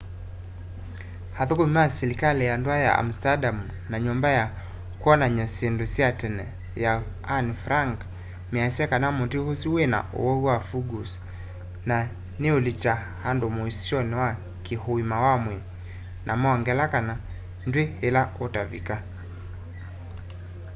athukumi ma silikali ya ndua ya amsterdam na nyũmba ya kwonany'a syĩndũ sya tene ya anne frank measya kana muti usu wina uwau wa fungus na niulikya andu muisyoni wa ki uima wa mwii na mongela kana ndwi ila utavaluka